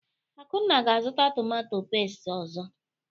Akunna ga-azụta tomatọ pẹ́sti ọzọ.